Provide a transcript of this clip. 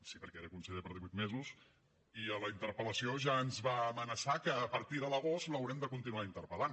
sí perquè era conseller per divuit mesos i a la interpel·lació ja ens va amenaçar que a partir de l’agost l’haurem de continuar interpel·lant